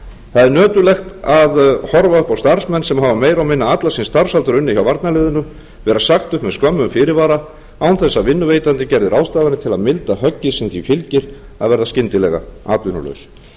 það er nöturlegt að horfa upp á starfsmenn sem hafa meira og minna allan sinn starfsaldur unnið hjá varnarliðinu vera sagt upp með skömmum fyrirvara án þess að vinnuveitandi gerði ráðstafanir til að milda höggið sem því fylgir að verða skyndilega atvinnulaus